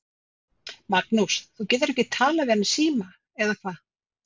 Magnús: Þú getur ekki talað við hann í síma, eða hvað?